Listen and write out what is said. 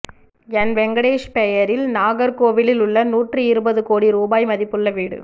என் வெங்கடேஷ் பெயரில் நாகர்கோவிலில் உள்ள நூற்றி இருபது கோடி ரூபாய் மதிப்புள்ள வீடு